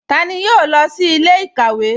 Tani yóò lọ sí ilẹ̀-ikawe?